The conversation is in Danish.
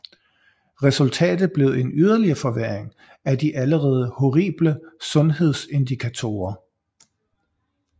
Resultatet blev en yderligere forværring af de allerede horrible sundhedsindikatorer